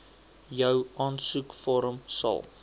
jou aansoekvorm sal